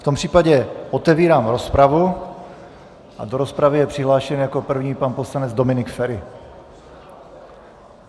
V tom případě otevírám rozpravu a do rozpravy je přihlášen jako první pan poslanec Dominik Feri.